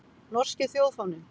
Norski þjóðfáninn.